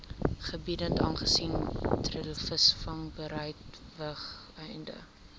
gebiede aangesien treilvisvangbedrywighede